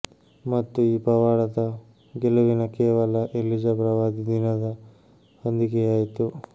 ಮತ್ತು ಈ ಪವಾಡದ ಗೆಲುವಿನ ಕೇವಲ ಎಲಿಜಾ ಪ್ರವಾದಿ ದಿನದ ಹೊಂದಿಕೆಯಾಯಿತು